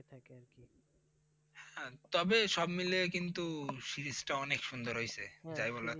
তবে সব মিলিয়ে কিন্তু Series টা অনেক সুন্দর হইছে! যাই বল আর তাই।